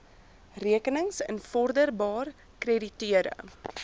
rekenings invorderbaar krediteure